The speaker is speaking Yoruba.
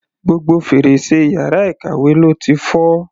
Gbogbo fèrèsé yàrá ìkàwé ló ti fọ́.